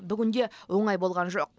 бүгін де оңай болған жоқ